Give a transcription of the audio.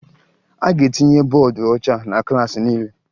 A ga-etinye bọọdụ ọcha na klaasị niile